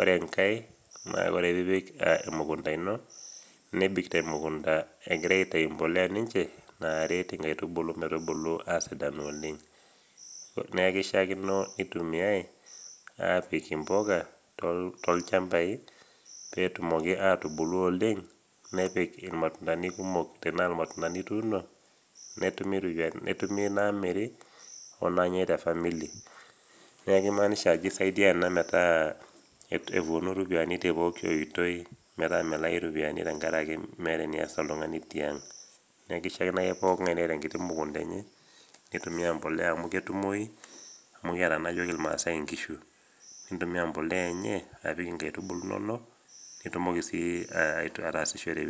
ore enkae naa ore piipik emukunta ino nebik temumunta ekiga aitayu embolea ninye egiraitau naakeishiakino neitumiyai aapik impuka tolchambai peetumoki aitubulu oleng nepik tenaa irmatunda ituuno netumi naamiri onaanyai te famili neeku keimaanisha ajo keisaidia ena metaa epuonu ooropiyiani tepooki oitoi metaa melai iropiyiani metaa meeta enemeas oltung'ani tiang neeku keishiakino ake niata oltung'ani enkiti mukunta enye neitumiya embolea amu ketumoyu amu kiata naa iyiok imaasi inkishu nitumia embolea enye apik inkaitubulu inonok nitumoki ataasishore